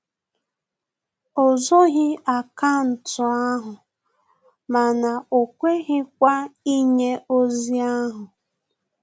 O zoghi akaụntụ ahụ mana o kweghịkwa inye ozi ahu